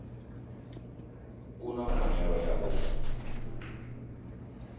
u na pfanelo ya u